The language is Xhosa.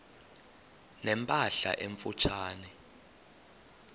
ne mpahla emfutshane